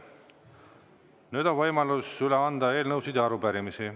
Nüüd on võimalus üle anda eelnõusid ja arupärimisi.